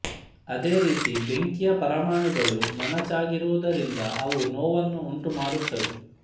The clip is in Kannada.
ಅದೇ ರೀತಿ ಬೆಂಕಿಯ ಪರಮಾಣುಗಳು ಮೊನಚಾಗಿರುವುದರಿಂದ ಅವು ನೋವನ್ನು ಉಂಟು ಮಾಡುತ್ತವೆ